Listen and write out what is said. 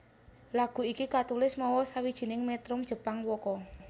Lagu iki katulis mawa sawijining metrum Jepang waka